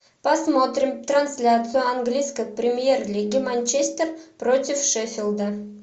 посмотрим трансляцию английской премьер лиги манчестер против шеффилда